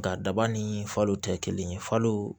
Nga daba ni falo tɛ kelen ye falo